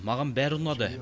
маған бәрі ұнады